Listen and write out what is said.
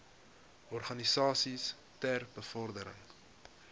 organisasies ter bevordering